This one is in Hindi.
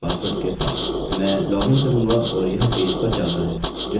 मैं लॉगिन करूँगा और यह पेज पर जाता है जो कि मौजूद नहीं है